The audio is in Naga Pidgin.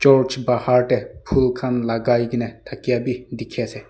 church bahar tey phul khan lagai geney thakia bi dikhi ase.